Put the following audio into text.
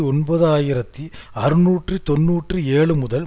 ஒன்பது ஆயிரத்தி அறுநூற்று தொன்னூற்றி ஏழு முதல்